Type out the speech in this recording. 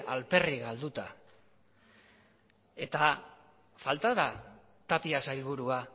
alferrik galduta eta falta da tapia sailburua